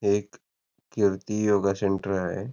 हे एक Kirti yoga centre आहे.